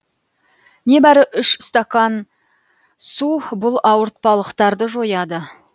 небәрі үш стакан су бұл ауыртпалықтарды жояды